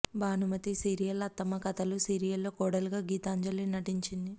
Bhanumathi serial అత్తమ్మ కథలు serial లో కోడలుగా గీతాంజలి నటించింది